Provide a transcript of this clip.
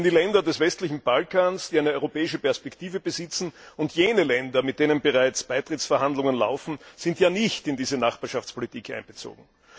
Denn die Länder des westlichen Balkans, die eine europäische Perspektive besitzen, und jene Länder, mit denen bereits Beitrittsverhandlungen laufen, sind ja nicht in diese Nachbarschaftspolitik einbezogen.